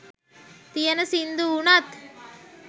තියෙන සිංදු වුනත්